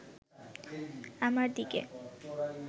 আমার দিকে